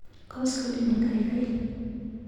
Koskoliny kaikai.